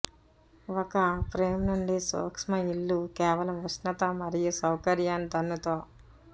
ఒక ఫ్రేమ్ నుండి సూక్ష్మ ఇళ్ళు కేవలం ఉష్ణత మరియు సౌకర్యాన్ని దన్నుతో